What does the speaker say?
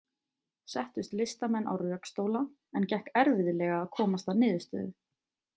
Settust listamenn á rökstóla, en gekk erfiðlega að komast að niðurstöðu.